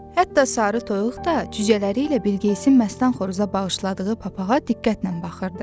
Hətta sarı toyuq da cücələri ilə Bilqeyisin məstan xoruza bağışladığı papağa diqqətlə baxırdı.